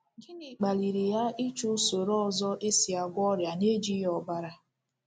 Gịnị kpaliri ya ịchọ usoro ọzọ e si agwọ ọrịa nejighi ọbara?